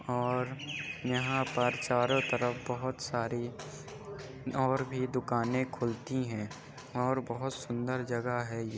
और यहाँ पर चारो तरफ बोहोत सारी और भी दुकाने खुलती हैं और बोहोत सुंदर जगह है ये।